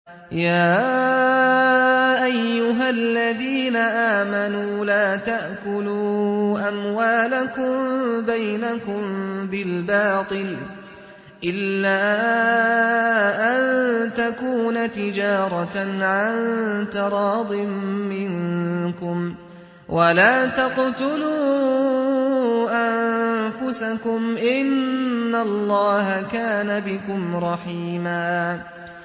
يَا أَيُّهَا الَّذِينَ آمَنُوا لَا تَأْكُلُوا أَمْوَالَكُم بَيْنَكُم بِالْبَاطِلِ إِلَّا أَن تَكُونَ تِجَارَةً عَن تَرَاضٍ مِّنكُمْ ۚ وَلَا تَقْتُلُوا أَنفُسَكُمْ ۚ إِنَّ اللَّهَ كَانَ بِكُمْ رَحِيمًا